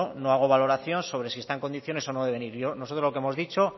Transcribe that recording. no hago valoración sobre si está en condiciones o no de venir nosotros lo que hemos dicho